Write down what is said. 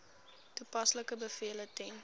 toepaslike bevele ten